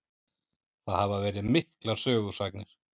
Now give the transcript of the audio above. Það hafa verið miklar sögusagnir.